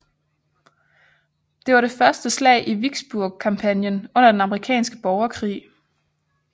Det var det første slag i Vicksburg kampagnen under den amerikanske borgerkrig